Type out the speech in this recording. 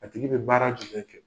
A tigi be baara tile kɛ.